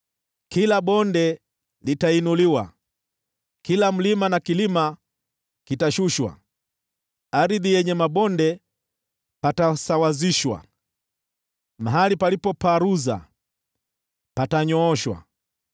Kila bonde litainuliwa, kila mlima na kilima kitashushwa; penye mabonde patanyooshwa, napo palipoparuza patasawazishwa.